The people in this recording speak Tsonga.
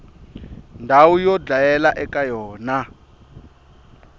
ndhawu yo dlayela eka yona